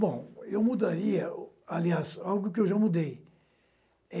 Bom, eu mudaria, aliás, algo que eu já mudei.